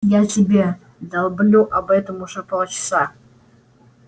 я тебе долблю об этом уже полчаса